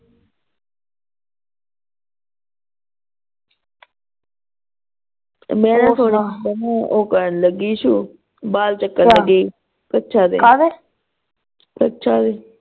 ਮੈਂ ਓ ਥੋੜਾ ਓ ਕਰਨ ਲੱਗੀ ਸ਼ੂ ਬਾਲ ਚੈੱਕ ਕਰਨ ਗਈ ਸੀ ਕੱਛਾਂ ਦੇ ਕੱਛਾਂ ਦੇ